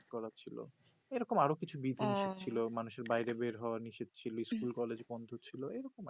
করার ছিল এই রকম আরো কিছু নিষেদ হ্যা ছিল মানুষ এর বাইরে বের হওয়া নিষেদ ছিল স্কুল college বন্দ করা ছিল এই রকম আর